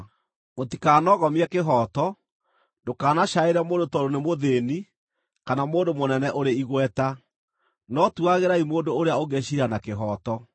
“ ‘Mũtikanoogomie kĩhooto; ndũkanacaĩre mũndũ tondũ nĩ mũthĩĩni kana mũndũ mũnene ũrĩ igweta, no tuagĩrai mũndũ ũrĩa ũngĩ ciira na kĩhooto.